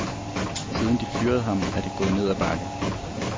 Siden de fyrede ham, er det gået ned ad bakke.